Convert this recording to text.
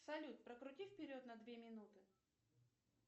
салют прокрути вперед на две минуты